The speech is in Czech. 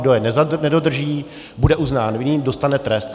Kdo je nedodrží, bude uznán vinným, dostane trest.